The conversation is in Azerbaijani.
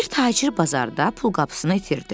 Bir tacir bazarda pulqabısını itirdi.